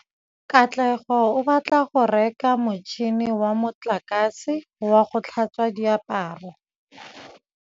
Katlego o batla go reka motšhine wa motlakase wa go tlhatswa diaparo.